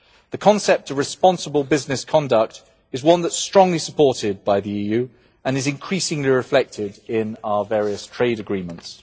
The concept of responsible business conduct is one that is strongly supported by the EU and is increasingly reflected in our various trade agreements.